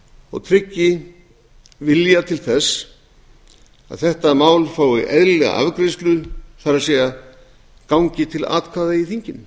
og tryggi vilja til þess að þetta mál fái eðlilega afgreiðslu það er gangi til atkvæða í þinginu